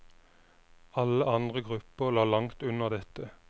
Alle andre grupper lå langt under dette.